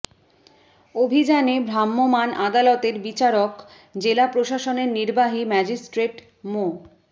অভিযানে ভ্রাম্যমাণ আদালতের বিচারক জেলা প্রশাসনের নির্বাহী ম্যাজিস্ট্রেট মো